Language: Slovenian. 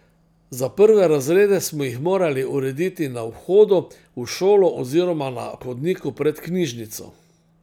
Za prve razrede smo jih morali urediti na vhodu v šolo oziroma na hodniku pred knjižnico.